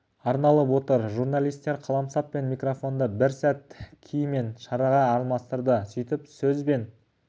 арналып отыр журналистер қаламсап пен микрафонды бір сәт ки мен шарға алмастырды сөйтіп сөз бен